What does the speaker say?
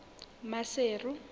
maseru